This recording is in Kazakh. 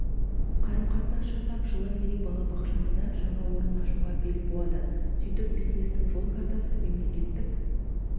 қарым-қатынас жасап жылы мерей балабақшасында жаңа орын ашуға бел буады сөйтіп бизнестің жол картасы мемлекеттік